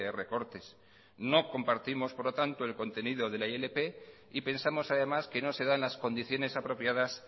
recortes no compartimos por lo tanto el contenidode la ilp y pensamos además que no se dan las condiciones apropiadas